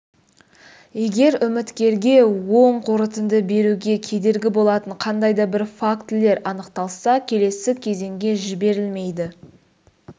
егер үміткерге оң қорытынды беруге кедергі болатын қандай да бір фактілер анықталса келесі кезеңге жіберілмейді